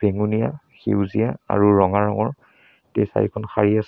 বেগুনীয়া সেউজীয়া আৰু ৰঙা ৰঙৰ তিনি চাৰিখন শাড়ী আছ--